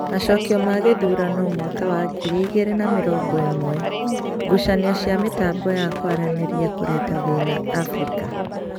Macokio ma gĩthurano mwaka wa ngiri igĩri na mĩrongo ĩmwe:ngucanio cia mĩtambo ya kwaranĩria kureta thĩĩna Afrika